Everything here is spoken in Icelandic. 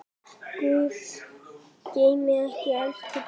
Guð geymi ykkur elsku bræður.